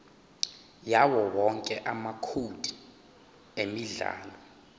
yawowonke amacode emidlalo